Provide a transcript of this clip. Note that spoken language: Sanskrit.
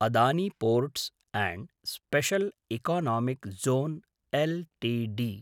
Adani ports special economic zone LTD